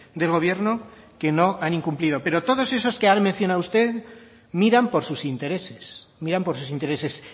del gobierno que no han incumplido pero todos esos que ha mencionado usted miran por sus intereses miran por sus intereses